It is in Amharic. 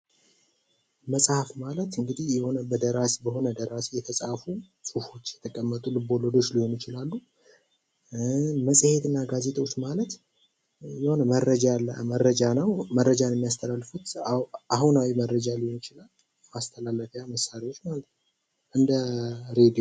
መፅሀፍ ማለት እንግዲህ በሆነ ደራሲ የተፃፉ ፅሁፎች የተቀመጡ ልብ ወለዶች ሊሆኑ ይችላሉ። መፅኤትና ጋዜጦች ማለት የሆነ መረጃ ነው መረጃን የሚያስተላልፉት አሁናዊ መረጃ ሊሆን ይችላል እንደ እሬዲዮ።